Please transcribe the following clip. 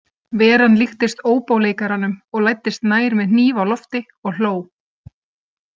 Veran líktist óbóleikaranum og læddist nær með hníf á lofti og hló.